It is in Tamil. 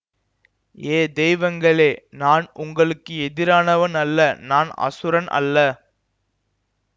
ஏ தெய்வங்களே நான் உங்களுக்கு எதிரானவன் அல்ல நான் அசுரன் அல்ல